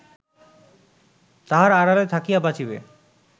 তাহার আড়ালে থাকিয়া বাঁচিবে